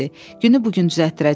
"Günü bu gün düzəltdirəcəm.